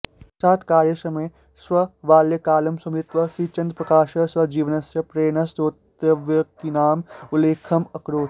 साक्षात्कारसमये स्वबाल्यकालं स्मृत्वा श्रीचन्द्रप्रकाशः स्वजीवनस्य प्रेरणास्रोतव्यक्तीनाम् उल्लेखम् अकरोत्